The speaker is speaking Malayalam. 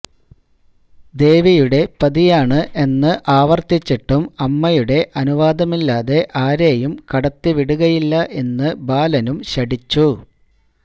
ദേവിയുടെ പതിയാണ് എന്ന് ആവർത്തിച്ചിട്ടും അമ്മയുടെ അനുവാദമില്ലാതെ ആരെയും കടത്തിവിടുകയില്ല എന്ന് ബാലനും ശഠിച്ചു